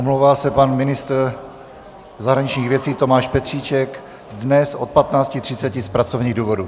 Omlouvá se pan ministr zahraničních věcí Tomáš Petříček dnes od 15.30 z pracovních důvodů.